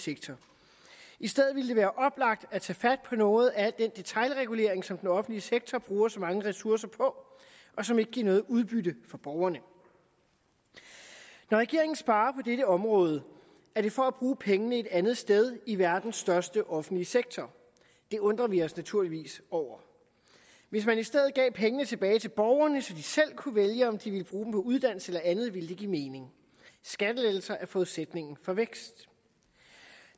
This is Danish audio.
sektor i stedet ville det være oplagt at tage fat på noget af al den detailregulering som den offentlige sektor bruger så mange ressourcer på og som ikke giver noget udbytte for borgerne når regeringen sparer på dette område er det for at bruge pengene et andet sted i verdens største offentlige sektor det undrer vi os naturligvis over hvis man i stedet gav pengene tilbage til borgerne så de selv kunne vælge om de ville bruge uddannelse eller andet ville det give mening skattelettelser er forudsætningen for vækst